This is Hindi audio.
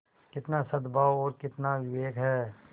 कितना सदभाव और कितना विवेक है